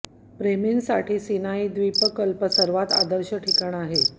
प्रेमी साठी सिनाई द्वीपकल्प सर्वात आदर्श ठिकाण आहे